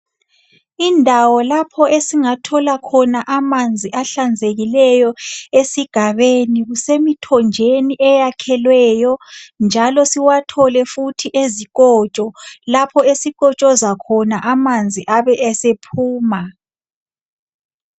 Indawo lapho esingathola khona amanzi ahlanzekileyo esigabeni kusemithonjeni eyakhelweyo njalo siwathole futhi ezikotsho lapho esikotshoza khona amanzi abe esephuma.